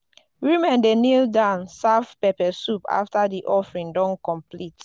women dey kneel down serve pepper soup after di offering don complete.